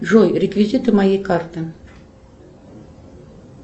джой реквизиты моей карты